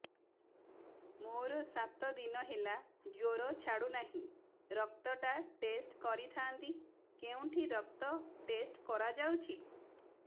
ମୋରୋ ସାତ ଦିନ ହେଲା ଜ୍ଵର ଛାଡୁନାହିଁ ରକ୍ତ ଟା ଟେଷ୍ଟ କରିଥାନ୍ତି କେଉଁଠି ରକ୍ତ ଟେଷ୍ଟ କରା ଯାଉଛି